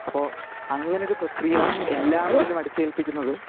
അപ്പൊ അങ്ങനെ ഒരു പ്രക്രിയ എല്ലാരിലും അടിച്ചേൽപ്പിക്കുന്നത്